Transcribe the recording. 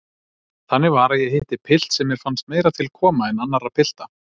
Þannig var að ég hitti pilt sem mér fannst meira til koma en annarra pilta.